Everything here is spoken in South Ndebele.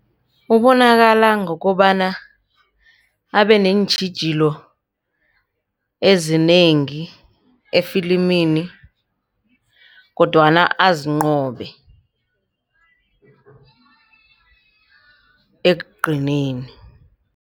Ubonakala ngokobana abe neentjhijilo ezinengi efilimini kodwana azinqobe ekugcineni.